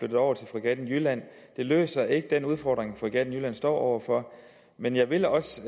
det over til fregatten jylland det løser ikke den udfordring fregatten jylland står over for men jeg vil også